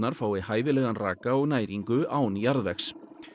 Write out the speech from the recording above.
fái hæfilegan raka og næringu án jarðvegs